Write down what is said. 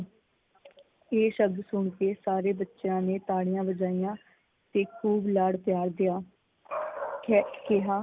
ਇਹ ਸਬਦ ਸੁਣ ਕੇ ਸਾਰੇ ਬੱਚਿਆਂ ਨੇ ਤਾੜੀਆਂ ਵਜਾਈਆਂ ਤੇ ਖੂਬ ਲਾਡ ਪਿਆਰ ਦਿਆ ਤੇ ਕਿਹਾ